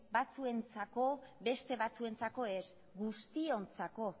batzuentzako beste batzuentzako ez guztiontzako